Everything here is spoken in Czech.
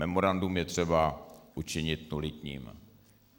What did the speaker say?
Memorandum je třeba učinit nulitním.